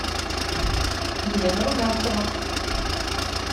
елена румянцева